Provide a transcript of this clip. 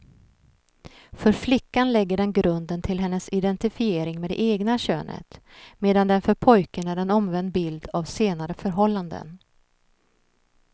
För flickan lägger den grunden till hennes identifiering med det egna könet, medan den för pojken är en omvänd bild av senare förhållanden.